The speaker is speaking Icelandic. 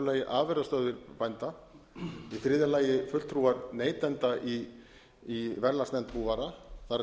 lagi afurðastöð bænda í þriðja lagi fulltrúar neytenda í verðlagsnefnd búvara það er